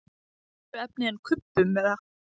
Úr öðru efni en kubbum eða?